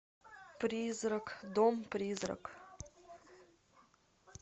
призрак дом призрак